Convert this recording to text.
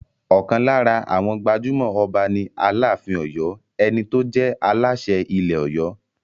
Ọ̀kan lára àwọn gbajúmọ̀ Ọba ni Aláàfin Ọ̀yọ́, ẹni tó jẹ́ Aláṣẹ ilẹ̀ Ọ̀yọ́.